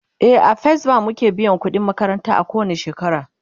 e a first bank muke biyan ƙudin makaranta ko wani shekara